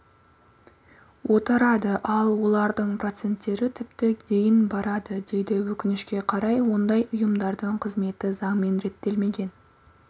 отырады ал олардың проценттері тіпті дейін барады дейді өкінішке қарай ондай ұйымдардың қызметі заңмен реттелмеген